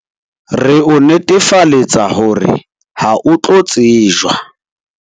Re o netefaletsa hore ha o tlo tsejwa.